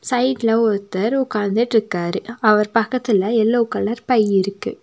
சைடுல ஒருத்தர் உக்காந்துட்டுருக்காரு அவர் பக்கத்துல எல்லோ கலர் பை இருக்கு.